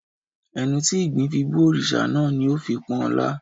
Ẹnu tí ìgbín fi bú òrìṣà náà ni ó fi ń pọ́n ọn lá